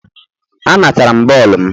A natara m bọọlụ m.